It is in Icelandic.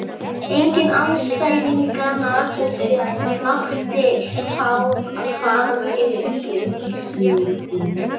Enginn andstæðinganna mátti fá hvað væri í uppsiglingu.